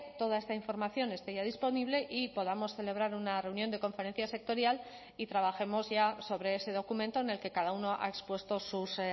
toda esta información esté ya disponible y podamos celebrar una reunión de conferencia sectorial y trabajemos ya sobre ese documento en el que cada uno ha expuesto sus